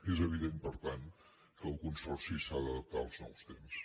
és evident per tant que el consorci s’ha d’adap·tar als nous temps